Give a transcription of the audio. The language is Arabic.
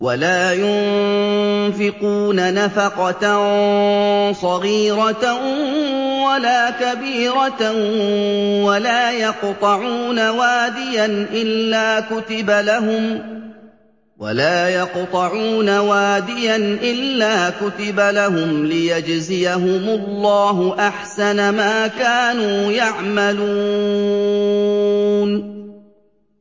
وَلَا يُنفِقُونَ نَفَقَةً صَغِيرَةً وَلَا كَبِيرَةً وَلَا يَقْطَعُونَ وَادِيًا إِلَّا كُتِبَ لَهُمْ لِيَجْزِيَهُمُ اللَّهُ أَحْسَنَ مَا كَانُوا يَعْمَلُونَ